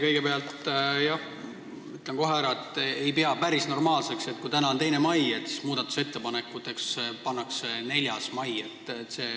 Kõigepealt ütlen kohe ära, et ma ei pea päris normaalseks seda, et täna on 2. mai, aga muudatusettepanekute esitamise ajaks on pandud 4. mai.